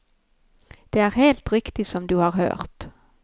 Det er helt riktig som du har hørt.